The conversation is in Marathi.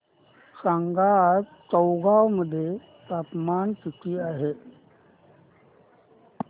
सांगा आज चौगाव मध्ये तापमान किता आहे